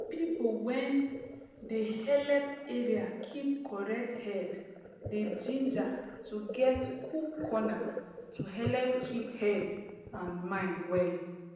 people when dey helep area keep correct head dey ginger to get cool corner to helep keep head and mind well